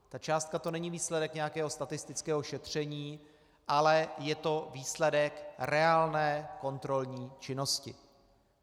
Ta částka, to není výsledek nějakého statistického šetření, ale je to výsledek reálné kontrolní činnosti.